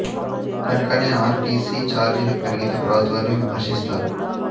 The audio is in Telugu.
కనుకనే ఆర్ టి సి ఛార్జీలు పెరిగితే ప్రభుత్వాన్ని విమర్శిస్తారు